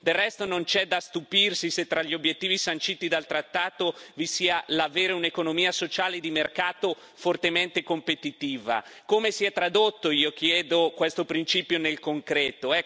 Del resto non c'è da stupirsi se tra gli obiettivi sanciti dal trattato vi sia l'avere un'economia sociale e di mercato fortemente competitiva. Come si è tradotto, io chiedo, questo principio nel concreto?